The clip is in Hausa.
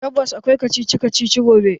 Tabbas akwai kacici kacici gobe.